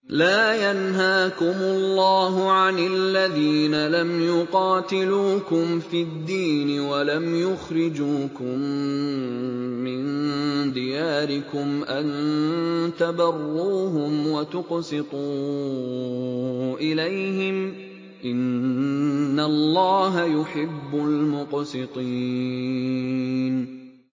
لَّا يَنْهَاكُمُ اللَّهُ عَنِ الَّذِينَ لَمْ يُقَاتِلُوكُمْ فِي الدِّينِ وَلَمْ يُخْرِجُوكُم مِّن دِيَارِكُمْ أَن تَبَرُّوهُمْ وَتُقْسِطُوا إِلَيْهِمْ ۚ إِنَّ اللَّهَ يُحِبُّ الْمُقْسِطِينَ